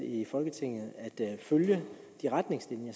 i folketinget i at følge de retningslinjer